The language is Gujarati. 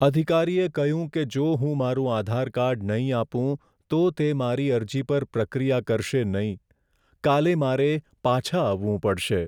અધિકારીએ કહ્યું કે જો હું મારું આધાર કાર્ડ નહીં આપું, તો તે મારી અરજી પર પ્રક્રિયા કરશે નહીં. કાલે મારે પાછા આવવું પડશે.